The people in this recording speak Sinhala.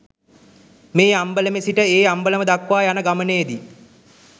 මේ අම්බලමේ සිට ඒ අම්බලම දක්වා යන ගමනේ දී